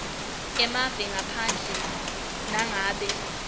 emave ngaphandle nangabe